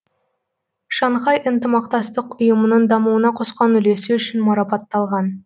шанхай ынтымақтастық ұйымының дамуына қосқан үлесі үшін марапатталған